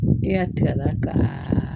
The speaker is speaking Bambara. Ne y'a tigɛ la ka